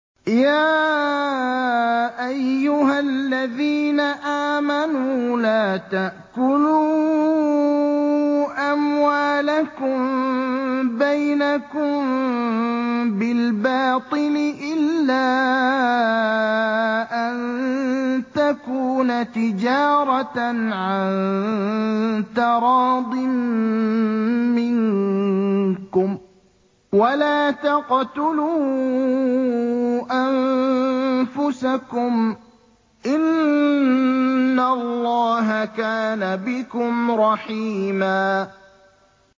يَا أَيُّهَا الَّذِينَ آمَنُوا لَا تَأْكُلُوا أَمْوَالَكُم بَيْنَكُم بِالْبَاطِلِ إِلَّا أَن تَكُونَ تِجَارَةً عَن تَرَاضٍ مِّنكُمْ ۚ وَلَا تَقْتُلُوا أَنفُسَكُمْ ۚ إِنَّ اللَّهَ كَانَ بِكُمْ رَحِيمًا